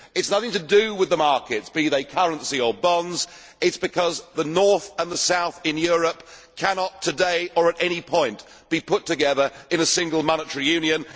It is nothing to do with the markets, be they currency or bonds, it is because the North and the South in Europe cannot today, or at any point, be put together in a single monetary union.